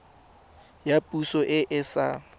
ya poso e e sa